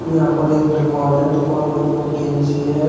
यहां पर एक दुकान है दुकान के ऊपर टीन सी है।